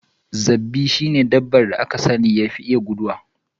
Rabbi shi ne dabban da yafi iya guduwa.